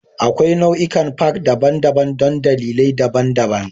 Akwai nau'ikan Park daban-daban don dalilai daban-daban